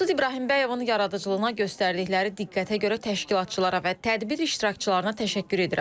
Maqsud İbrahimbəyovun yaradıcılığına göstərildikləri diqqətə görə təşkilatçılara və tədbir iştirakçılarına təşəkkür edirəm.